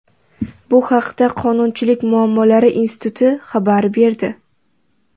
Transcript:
Bu haqda Qonunchilik muammolari instituti xabar berdi.